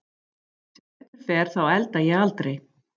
Sem betur fer þá elda ég aldrei.